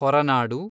Horanadu